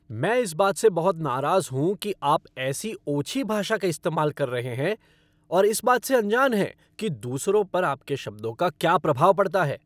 मैं इस बात से बहुत नाराज हूँ कि आप ऐसी ओछी भाषा का इस्तेमाल कर रहे हैं और इस बात से अनजान हैं कि दूसरों पर आपके शब्दों का क्या प्रभाव पड़ता है।